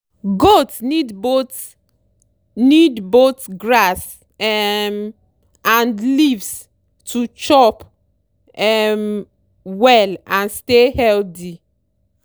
goat need both need both grass um and leaves to chop um well and stay healthy.